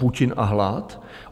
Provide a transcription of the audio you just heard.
Putin a hlad?